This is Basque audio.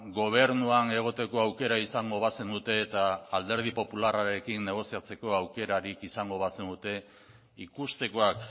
gobernuan egoteko aukera izango bazenute eta alderdi popularrarekin negoziatzeko aukerarik izango bazenute ikustekoak